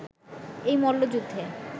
এই মল্লযুদ্ধে